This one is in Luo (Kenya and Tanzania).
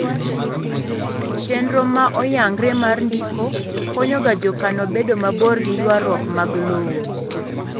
chenro ma oyangre mar ndiko konyo ga jokano bedo mabor gi ywaruok mag lowo